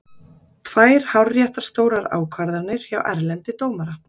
Tvær hárréttar stórar ákvarðanir hjá Erlendi dómara.